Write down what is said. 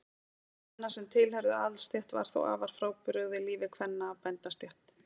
Líf kvenna sem tilheyrðu aðalsstétt var þó afar frábrugðið lífi kvenna af bændastétt.